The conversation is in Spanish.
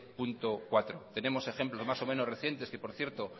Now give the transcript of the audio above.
punto cuatro tenemos ejemplos más o menos recientes ue por cierto